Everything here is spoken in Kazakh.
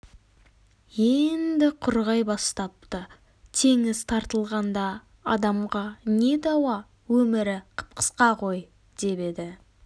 енді құрғай бастапты теңіз тартылғанда адамға не дауа өмірі қып-қысқа ғой деп еді